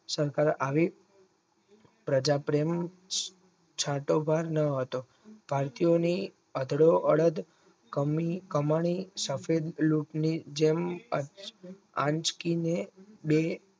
સત્તા આવી સજાત્રનું છાતવન ન હતો તત્યની અડધો અડધ કમાણી સફેદ લૂંટ ની જેમ આંચકીને બે